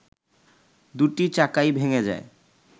দুটি চাকাই ভেঙে যায়